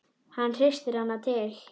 Hann hristir hana til.